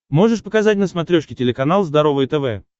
можешь показать на смотрешке телеканал здоровое тв